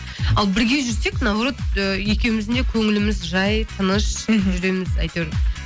ал бірге жүрсек наоборот ы екеуміздің де көңіліміз жай тыныш жүреміз әйтеуір